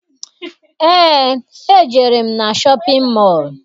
Eé, ejere m na shọpịn mọọ